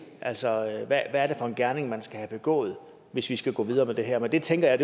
altså hvad er det for en gerning man skal have begået hvis vi skal gå videre med det her men det tænker jeg